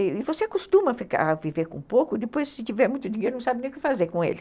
E você costuma viver com pouco, depois, se tiver muito dinheiro, não sabe nem o que fazer com ele.